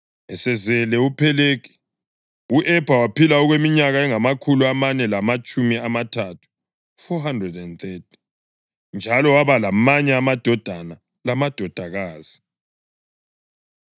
Esezele uPhelegi, u-Ebha waphila okweminyaka engamakhulu amane lamatshumi amathathu (430), njalo waba lamanye amadodana lamadodakazi.